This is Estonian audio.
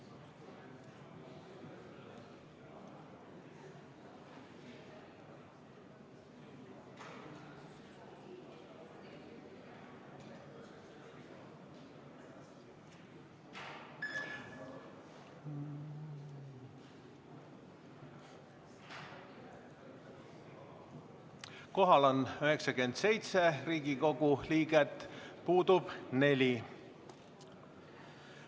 Kohal on 97 Riigikogu liiget, puudub 4.